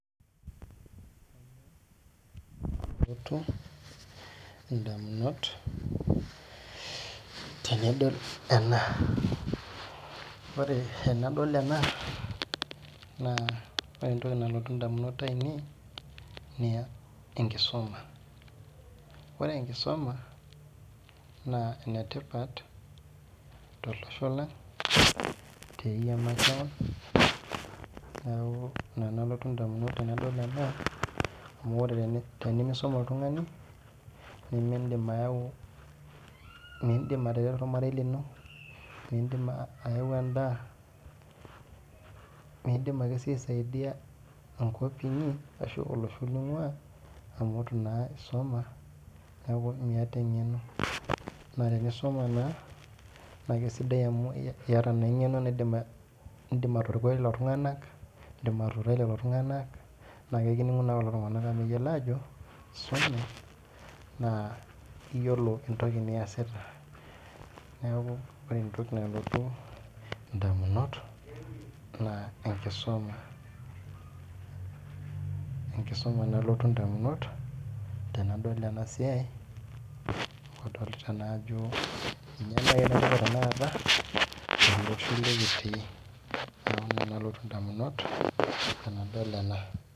Ore entoki nalotu edamunot ainei tenadol ena naa tenkisuma ore tenkisuma naa enetipat tolosho lang neeku ena nalotu edamunot tenadol ena amu ore tenimisuma oltung'ani nimidim atareto ormarei lino midim ayau endaa midiam aisaidia enkopinyi ashu olosho linguaaamu eitu naa esuma neeku miata eng'eno amu tenkisuma naa neeku eyata eng'eno edim atorokoi lelo tung'ana edim atutai lelo tung'ana naa ekininguni enakata ekiyiolo Ajo esume neeku keyiolo Ajo esume neeku ore entoki nalotu edamunot naa tenkisuma tenkisuma nalotu edamunot tenadol ena siai amu kadolita naa Ajo mbae etipat tanakata telosho likitii neeku ena mbae nalotu edamunot tenadol ena